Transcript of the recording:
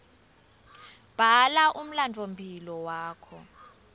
bhala umlandvomphilo wakho